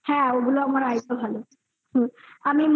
হ্যাঁ ওগুলো আমার idea ভালো হুম আমি